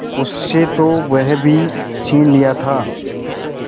उससे तो वह भी छीन लिया था